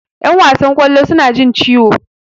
Yan wasan kwallo suna jin ciwo.